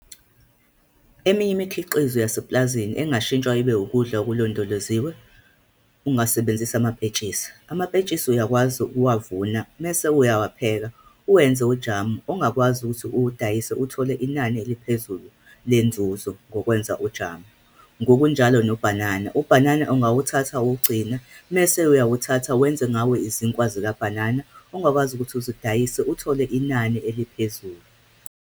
Eminye imikhiqizo yasepulazini engashintshwa ibe ukudla okulondoloziwe, ungasebenzisa amapentshisi. Amapentshisi uyakwazi ukuwavuna, mese uyawapheka, uwenze ujamu, ongakwazi ukuthi uwudayise uthole inani eliphezulu lenzuzo, ngokwenza ujamu. Ngokunjalo nobhanana, ubhanana ungawuthatha ukugcine, mese uyawuthatha wenze ngawo izinkwa zikabhanana, ongakwazi ukuthi uzidayise, uthole inani eliphezulu.